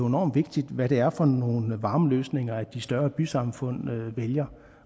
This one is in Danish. enormt vigtigt hvad det er for nogle varmeløsninger de større bysamfund vælger